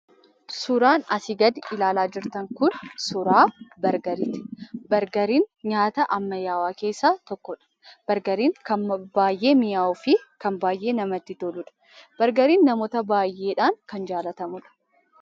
Suuraan asii gad ilaalaa jirtan kun suuraa Bargariiti. Bargariin nyaata ammayyaawaa keessaa tokko dha. Bargariin kan baay'ee mi'aawuu fi kan baay'ee namatti toluudha. Bargariin namoota baay'eedhaan kan jaallatamuu dha.